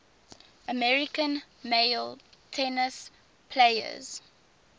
american male tennis players